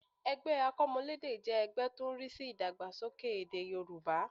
Ẹgbẹ́ akọ́mọlédè jẹ́ ẹgbẹ́ tó ń rí sí ìdàgbàsókè èdè Yorùbá